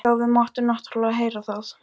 Já, við máttum náttúrlega heyra það.